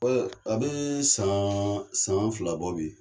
a bɛ san san fila bɔ bi.